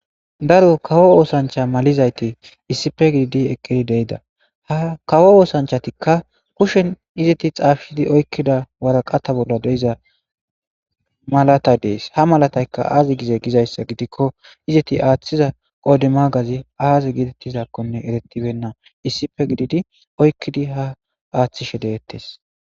daro kawo oosancha malizayti isipe gididi eqqidi deida ha kawo oosanchatikka pushen izeti xaafidi oykkida waraqata bolla deiza malatay dees ha malatayka aazi gize gizayssa gidikko izeti aaththiza qoode magazi aaze gitettizaakkonne eretibenna isipe gididi oykkidi ha aaththishe deettes